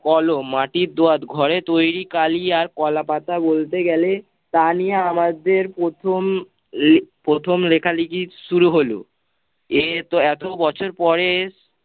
কলম মাটির দোয়াদ ঘরে তৈরী কালি আর কলাপাতা বলতে গেলে তানিয়া আমাদের প্রথম প্রথম লেখালেখি শুরু হলো। এ ত এতো বছর পরে